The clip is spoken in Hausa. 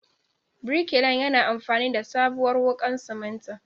Birkilan yana amfani da sabuwar wuƙar simintin.